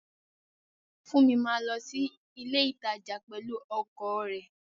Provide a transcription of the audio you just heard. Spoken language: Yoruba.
Funmi máa lọ sí ilé ìtajà pẹ̀lú ọkọ̀ rẹ̀